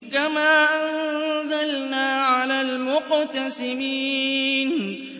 كَمَا أَنزَلْنَا عَلَى الْمُقْتَسِمِينَ